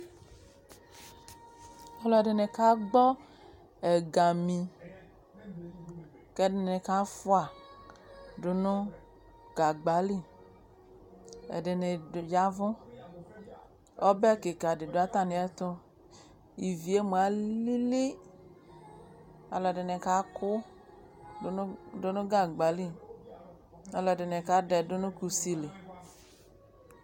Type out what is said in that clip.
Alɛde ka gbɔ ɛgami kɛ ɛdene kaa fua do no gagba li Ɛdebe d, yavu Ɔbɛ kika de do atane ɛto Ivie moa alili Alɛde ne kaku do no gagba li Alɛde ne ka dɛdu no kusi li